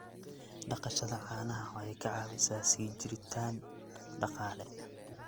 Dhaqashada caanaha waxay ka caawisaa sii jiritaan dhaqaale.